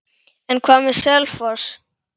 En hvað með Selfoss?